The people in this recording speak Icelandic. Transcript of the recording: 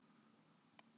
Bæjarási